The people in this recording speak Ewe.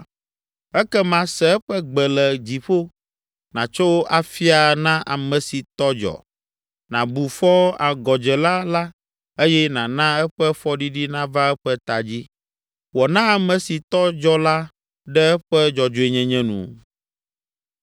ekema, se eƒe gbe le dziƒo, nàtso afia na ame si tɔ dzɔ, nàbu fɔ agɔdzela la eye nàna eƒe fɔɖiɖi nava eƒe ta dzi. Wɔ na ame si tɔ dzɔ la ɖe eƒe dzɔdzɔenyenye nu.